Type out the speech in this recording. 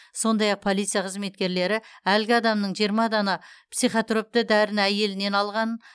сондай ақ полиция қызметкерлері әлгі адамның жиырма дана психотропты дәріні әйелінен алғанын